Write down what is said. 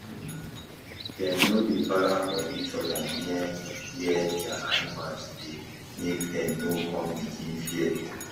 dem no dey para for eachother near where dia animals dey make dem no con begin fear